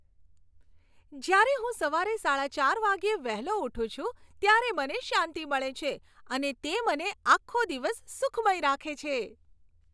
જ્યારે હું સવારે સાડા ચાર વાગ્યે વહેલો ઊઠું છું ત્યારે મને શાંતિ મળે છે અને તે મને આખો દિવસ સુખમય રાખે છે.